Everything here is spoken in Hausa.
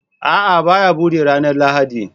A'a, ba ya buɗe ranar Lahadi